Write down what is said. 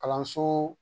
Kalanso